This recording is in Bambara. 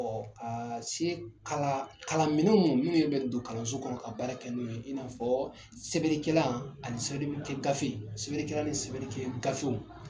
Ɔ se kala kalanminɛn minnu bɛ don kalanso kɔnɔ ka baara kɛ n'o ye in'a fɔ sɛbɛnnikɛlan ani sɛbɛnnikɛ gafe sɛbɛnnikɛlan ani sɛbɛnnikɛ gafew